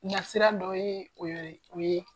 Nasira dɔ ye ee o ye.